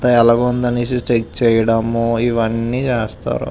అంతా ఎలాగుంది అనేసి చెక్ చేయడం ఇదంతా చేస్తారు.